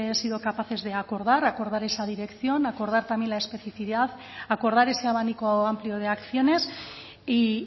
sido capaces de acordar acordar esa dirección acordar también la especificidad acordar ese abanico amplio de acciones y